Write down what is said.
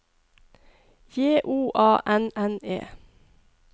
J O A N N E